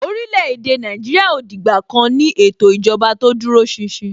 orílè-èdè Nàìjíríà ò dìgbà kan ní ètò ìjọba tó dúró ṣinṣin.